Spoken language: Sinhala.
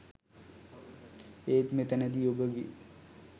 ඒත් මෙතැනදී ඔබගේ